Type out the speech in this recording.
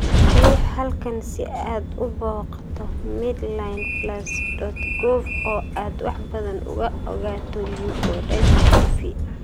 Riix halkan si aad u booqato MedlinePlus.gov oo aad wax badan uga ogaato leukodystprohy